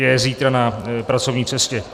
Je zítra na pracovní cestě.